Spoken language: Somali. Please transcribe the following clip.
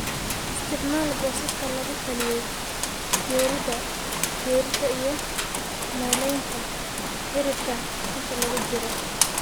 isticmaal boosaska lagu taliyey, jaridda jaridda iyo meelaynta cirifka inta lagu jiro